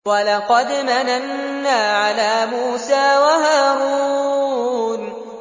وَلَقَدْ مَنَنَّا عَلَىٰ مُوسَىٰ وَهَارُونَ